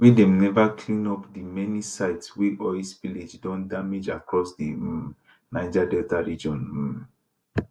wen dem never clean up di many sites wey oil spillage don damage across di um niger delta region um